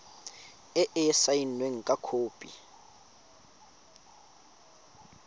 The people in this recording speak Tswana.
e e saenweng fa khopi